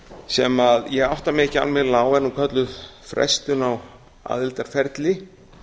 sem ég átta mig ekki almennilega á og er nú kölluð frestun á aðildarferli